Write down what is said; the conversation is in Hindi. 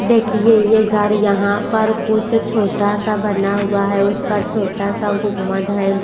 देखिए ये घर यहाँ पर कुछ छोटा सा बना हुआ है उस पर छोटा सा गुम्मद है।